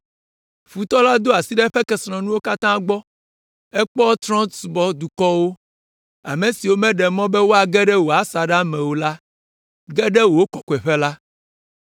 Futɔ la do asi ɖe eƒe kesinɔnuwo katã gbɔ; ekpɔ trɔ̃subɔdukɔwo, ame siwo mèɖe mɔ be woage ɖe wò asaɖa me o la ge ɖe wò kɔkɔeƒe la.